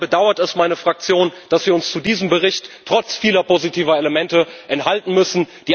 Daher bedauert es meine Fraktion, dass wir uns zu diesem Bericht trotz vieler positiver Elemente enthalten müssen.